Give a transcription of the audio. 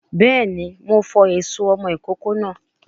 Béèni, Mo fọ èso ọmọ ìkókó náà